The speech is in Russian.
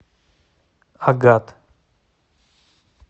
агат